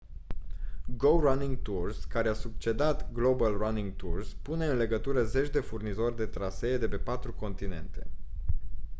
go running tours care a succedat global running tours pune în legătură zeci de furnizori de trasee de pe patru continente